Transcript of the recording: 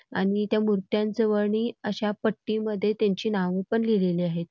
आणि त्या मुर्त्यां अश्या पट्टीमध्ये त्यांची नावपण लिहिलेली आहेत.